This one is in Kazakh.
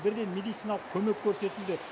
бірден медициналық көмек көрсетілді